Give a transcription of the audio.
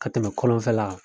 Ka tɛmɛ kɔlɔnfɛla